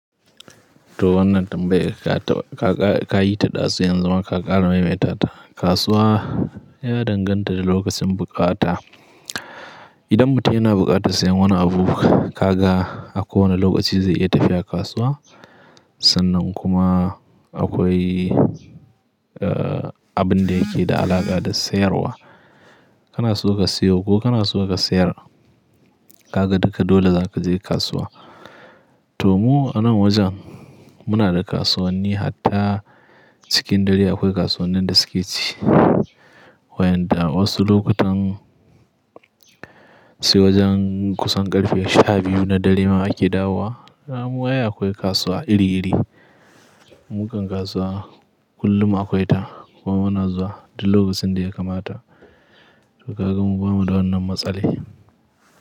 To wannan tambaya ka yi ta ɗa sai yanzu ma ka ƙara maimaita ta. Kasuwa ya danganta da lokacin buƙata. Idan mutum yana buƙatar sayen wani abu, kaga a kowane lokaci zai iya tafiya kasuwa. Sannan kuma akwai, eh, abin da yake da alaƙa da sayarwa. Kana so ka siyo ko kana so ka sayar, kaga duka dole za ka je kasuwa. To mu a nan wajen muna da kasuwanni hatta cikin gari akwai kasuwannin da suke ci. Wayanda wasu lokutan sai wajen kusan ƙarfe sha biyu na dare ma ake dawo wa. Ramuwa ai akwai kasuwa iri-iri. Mukan kasuwa kullum akwai ta kuma muna zuwa duk lokacin da ya kamata. To kaga mu ba mu da wannan matsali.